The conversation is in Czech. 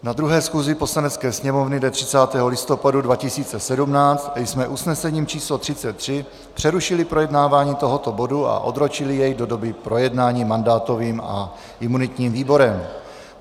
Na 2. schůzi Poslanecké sněmovny dne 30. listopadu 2017 jsme usnesením číslo 33 přerušili projednávání tohoto bodu a odročili jej do doby projednání mandátovým a imunitním výborem.